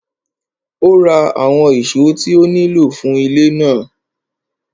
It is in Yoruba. Ó ra àwọn ìṣó tí ó nílò fún ilé náà.